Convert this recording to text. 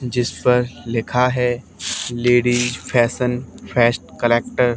जिस पर लिखा है लेडिस फैशन फर्स्ट कलेक्टर ।